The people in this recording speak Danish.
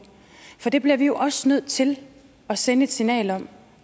for det bliver vi jo også nødt til at sende et signal om